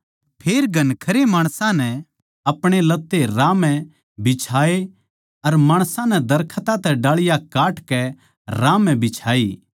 फेर घणखरे माणसां नै अपणे लत्ते राह म्ह बिछाये अर माणसां नै दरखतां तै डाळियां काटकै राह म्ह बिछाई